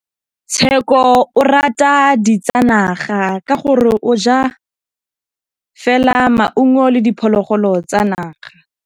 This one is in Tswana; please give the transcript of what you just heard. Tshekô o rata ditsanaga ka gore o ja fela maungo le diphologolo tsa naga.